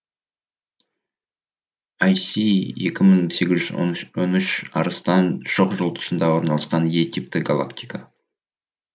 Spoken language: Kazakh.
ай си екі мың сегіз жүз он үш арыстан шоқжұлдызында орналасқан е типті галактика